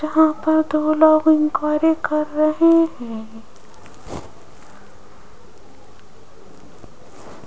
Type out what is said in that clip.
यहां पर दो लोग इंक्वारी कर रहे हैं।